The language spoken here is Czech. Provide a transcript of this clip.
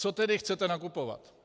Co tedy chcete nakupovat?